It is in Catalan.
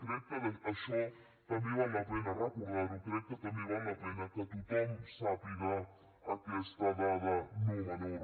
crec que això també val la pena recordar ho crec que també val la pena que tothom sàpiga aquesta dada no menor